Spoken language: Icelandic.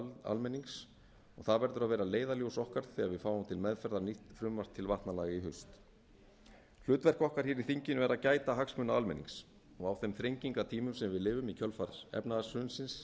almennings það verður að vera leiðarljós okkar þegar við fáum til meðferðar nýtt frumvarp til vatnalaga í haust hlutverk okkar hér í þinginu er að gæta hagsmuna almennings og á þeim þrengingartímum sem við lifum í kjölfar efnahagshrunsins